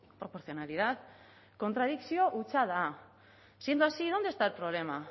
proporcionalidad kontradikzio hutsa da siendo así dónde está el problema